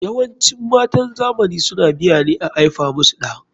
YAwancin matan zamani suna biya ne a aifa musu ɗa.